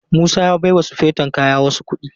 Musa ya baiwa sufeton kaya wasu kuɗi.